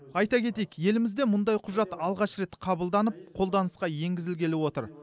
айта кетейік елімізде мұндай құжат алғаш рет қабылданып қолданысқа енгізілгелі отыр